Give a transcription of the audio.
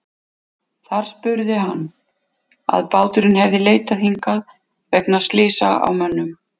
Þar spurði hann, að báturinn hefði leitað hingað vegna slysa á mönnum.